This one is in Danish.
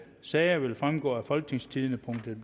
sager vil fremgå af folketingstidende